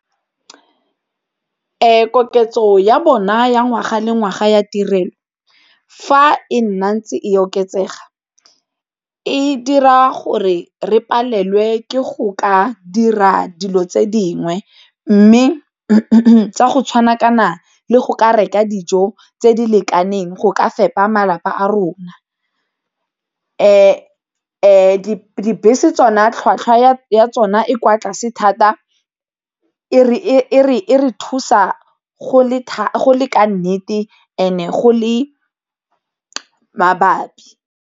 Koketso ya bona ya ngwaga le ngwaga ya tirelo, fa e nna ntse e oketsega e dira gore re palelwe ke go ka dira dilo tse dingwe mme tsa go tshwana kana le go ka reka dijo tse di lekaneng go ka fepa malapa a rona. Dibese tsona tlhwatlhwa ya ya tsona e kwa tlase thata e re thusa go le ka nnete and-e go le mabapi.